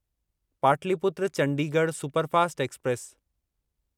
Pataliputra Chandigarh superfast express